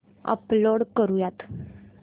upload करुयात